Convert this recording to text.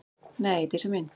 Nei, Dísa mín.